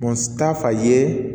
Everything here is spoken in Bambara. ta fa ye